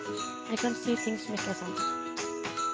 Jeg kan si ting som ikke er sant.